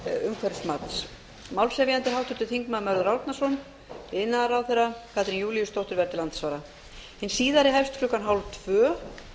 umhverfismats málshefjandi er háttvirtur þingmaður mörður árnason iðnaðarráðherra katrín júlíusdóttir verður til andsvara klukkan hálftvö